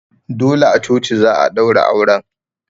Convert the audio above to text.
Dole a coci za'a ɗaura auren